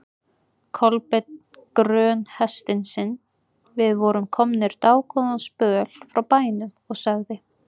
Kolbeinn grön hestinn sinn, við vorum komnir dágóðan spöl frá bænum, og sagði